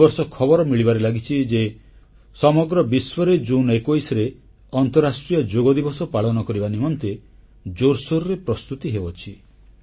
ଏ ବର୍ଷ ଖବର ମିଳିବାରେ ଲାଗିଛି ଯେ ସମଗ୍ର ବିଶ୍ୱରେ ଜୁନ୍ 21ରେ ଅନ୍ତଃରାଷ୍ଟ୍ରୀୟ ଯୋଗଦିବସ ପାଳନ କରିବା ନିମନ୍ତେ ଜୋରସୋର୍ ପ୍ରସ୍ତୁତି ହେଉଛି